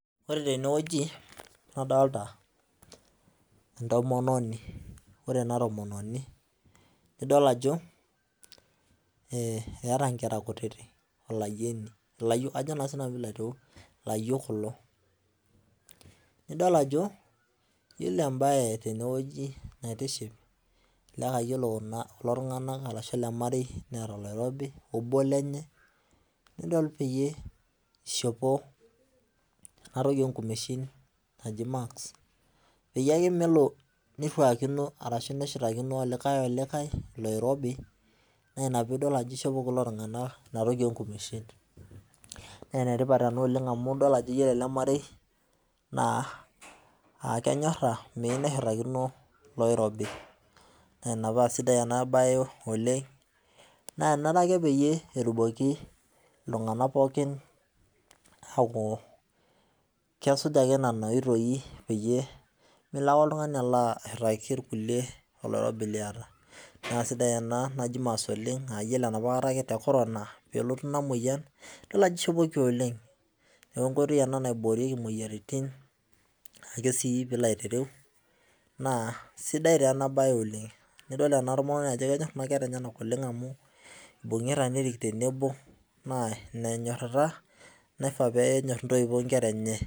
Ore tenewueji, nadolta entomononi. Ore ena tomononi, nidol ajo, eeta nkera kutitik, olayieni, ilayiok kajo naa sinanu pilo aitereu, ilayiok kulo. Nidol ajo, yiolo ebae tenewueji naitiship elelek ah yiolo kulo tung'anak arashu ele marei neeta oloirobi obo lenye, nidol peyie ishopo enatoki onkumeshin naji mask, peyie ake melo nirruakino arashu nishutakino olikae iloirobi, na ina pidol ajo ishopo kulo tung'anak inatoki onkumeshin. Nenetipat ena oleng amu idol ajo yiolo ele marei, naa akenyorra, meyieu neshurrakino loirobi. Na ina pasidai enabae oleng, naa enare ake peyie etumoki iltung'anak pookin aku kesuj ake nena oitoi peyie melo ake oltung'ani alo ashurraki irkulie oloirobi liata. Nasidai ena naji mas oleng, ayiolo enapa kata ake te corona, pelotu ina moyian, idol ajo ishopoki oleng. Neku enkoitoi ena naiboorieki moyiaritin, ake si pilo aitereu, naa sidai taa enabae oleng. Nidol ena tomononi ajo kenyor kuna kera enyanak oleng amu ibung'ita nerik tenebo, naa ina enyorrata naifaa penyor intoiwuo nkera enye.